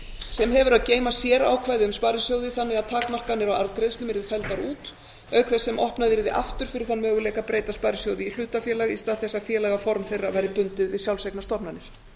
sem hefur að geyma sérákvæði um sparisjóði þannig að takmarkanir á arðgreiðslum yrðu felldar út auk þess sem opnað yrði aftur fyrir þann möguleika að breyta sparisjóði í hlutafélag í stað þess að félagaform þeirra væri bundið við sjálfseignarstofnanir